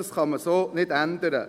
Das kann man so nicht ändern.